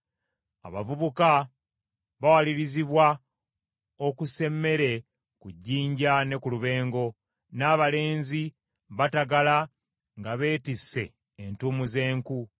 Abavubuka bawalirizibwa okusa emmere ku jjinja ne ku lubengo, n’abalenzi batagala nga beetisse entuumu z’enku.